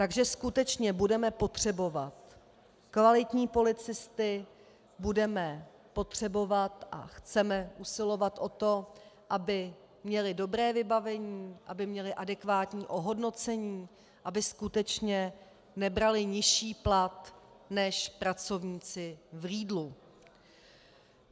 Takže skutečně budeme potřebovat kvalitní policisty, budeme potřebovat a chceme usilovat o to, aby měli dobré vybavení, aby měli adekvátní ohodnocení, aby skutečně nebrali nižší plat než pracovníci v Lidlu.